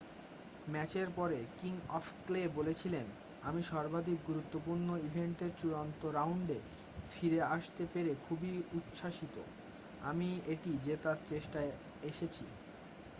"ম্যাচের পরে king of clay বলেছিলেন "আমি সর্বাধিক গুরুত্বপূর্ণ ইভেন্টের চূড়ান্ত রাউন্ডে ফিরে আসতে পেরে খুবই উচ্ছ্বসিত। আমি এটি জেতার চেষ্টায় এসেছি।""